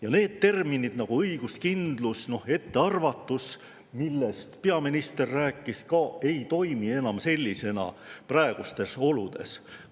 Ka sellised nagu õiguskindlus ja ettearvatus, millest peaminister rääkis, ei praegustes oludes enam sellisena.